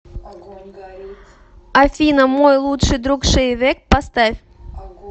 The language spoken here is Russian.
афина мой лучший друг шейвек поставь